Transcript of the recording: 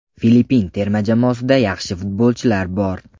Filippin terma jamoasida yaxshi futbolchilar bor.